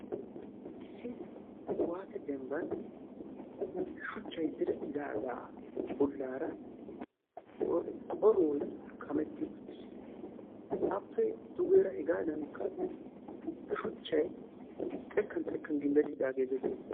Issi kuwaase dembban shuchchay direttidaagaa bollaara qorqqoroy kametti uttiis. Appe dugeera hegaadankka shuchchay xekkan xekkan gimbbettidaagee dees.